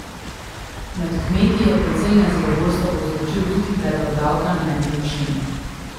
Med kmeti je precej nezadovoljstva povzročil tudi predlog davka na nepremičnine.